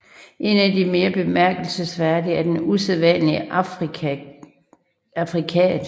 En af de mere bemærkelsesværdige er den usædvanlige affrikat